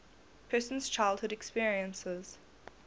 person's childhood experiences